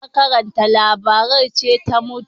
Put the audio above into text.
Mai karanta labaran ce ta mutu